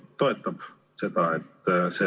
Kersna sõnas, et vastavalt eelnõule seda enam tegema ei pea.